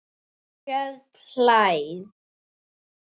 Björn hlær.